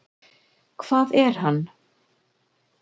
Hvað er hann?